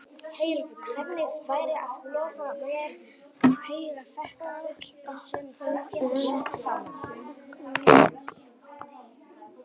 Heyrðu, hvernig væri að lofa mér að heyra þetta bull sem þú hefur sett saman?